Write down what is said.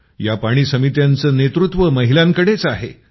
या पाणी समित्यांचं नेतृत्व महिलांकडेच आहे